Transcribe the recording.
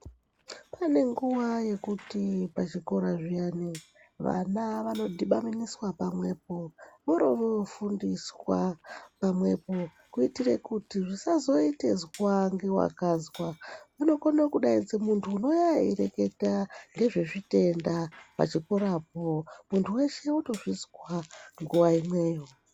Pane nguwa yekuti pachikora zviyani vana vanodhibaniswa pamwepo vorofundiswa pamwepo kuti zvisazoite izwa ngewakazwa kunokone kudainzwe muntu unouya eireketa ngezvezvitenda pachikorapo muntu weshe otozvizwa nguwa imweyo .